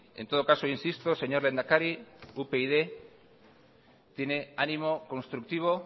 en todo caso insisto señor lehendakari upyd tiene ánimo constructivo